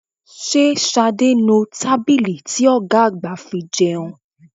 Ṣé Ṣadé ń nu tábìlì ti ọ̀gá àgbà fi jẹun?